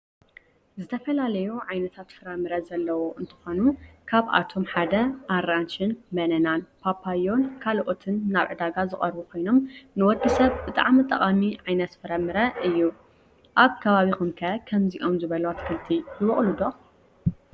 ዝተፈላለዩ ዓይነታት ፍራምረ ዘለዎ እንተኮኑ ካብአቶም ሓደ አራንሽ ፤በነና፤ ፓፓየ ካልኦትን ናብ ዕዳጋ ዝቅረቡ ኮይኖም ንወድሰብ ብጣዕሚ ጠቃሚ ዓይነት ፍረምረ እዩ። አብ ከባቢኩም ከ ከምዚኦም ዝበሉ አትክልቲ ይበቁሉ ዶ?